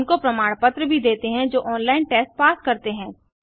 उनको प्रमाण पत्र भी देते हैं जो ऑनलाइन टेस्ट पास करते हैं